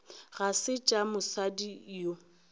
ga se tša mosadi yo